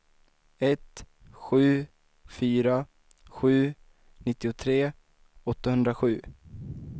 ett sju fyra sju nittiotre åttahundrasju